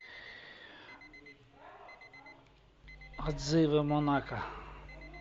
отзывы монако